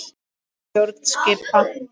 Nýja stjórn skipa.